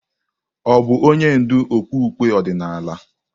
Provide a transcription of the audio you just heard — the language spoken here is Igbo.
Ọ̀ bụ onye ndú okpukpe ọdịnala?